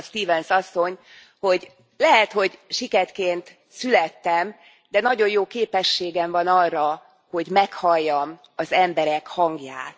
Azt mondta Stevens asszony, hogy lehet, hogy siketként születtem, de nagyon jó képességem van arra, hogy meghalljam az emberek hangját.